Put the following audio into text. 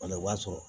Wala i b'a sɔrɔ